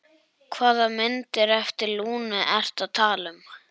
Hvaða myndir eftir Lúnu ertu að tala um?